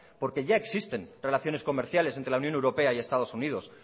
porque ya existen relaciones comerciales entre la unión europea y estados unidos